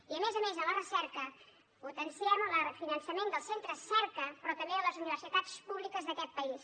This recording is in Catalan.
i a més a més en la recerca potenciem el refinançament dels centres cerca però també de les universitats públiques d’aquest país